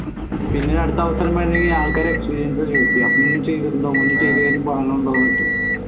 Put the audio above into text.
പിന്നെ അടുത്ത അവസരം വരണങ്കി ആൾക്കാരെ experience മുന്നേ ചെയ്തിട്ടുണ്ടോ മുന്നേ ചെയ്ത ഒക്കെ